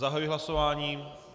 Zahajuji hlasování.